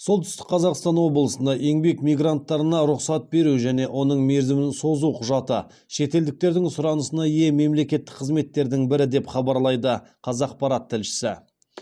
солтүстік қазақстан облысында еңбек мигранттарына рұқсат беру және оның мерзімін созу құжаты шетелдіктердің сұранысына ие мемлекеттік қызметтердің бірі деп хабарлайды қазақпарат тілшісі